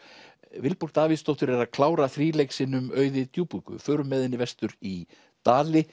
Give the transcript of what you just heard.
Vilborg Davíðsdóttir er að klára þríleik sinn um Auði djúpúðgu við förum með henni vestur í Dali